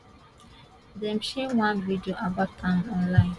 dem share one video about am online